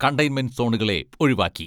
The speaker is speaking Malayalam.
കണ്ടെയ്ൻമെന്റ് സോണുകളെ ഒഴിവാക്കി.